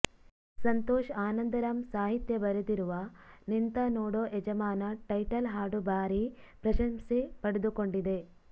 ಸಂತೋಷ್ ಆನಂದ್ ರಾಮ್ ಸಾಹಿತ್ಯ ಬರೆದಿರುವ ನಿಂತ ನೋಡೋ ಯಜಮಾನ ಟೈಟಲ್ ಹಾಡು ಭಾರಿ ಪ್ರಶಂಸೆ ಪಡೆದುಕೊಂಡಿದೆ